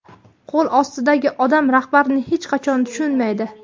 Qo‘l ostidagi odam rahbarini hech qachon tushunmaydi.